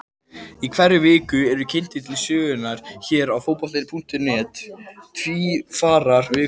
Í hverri viku eru kynntir til sögunnar hér á Fótbolti.net Tvífarar vikunnar.